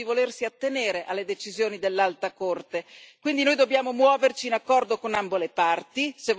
Vorrei ricordare che il governo di Israele, anche recentemente, ha dimostrato di volersi attenere alle decisioni dell'Alta Corte.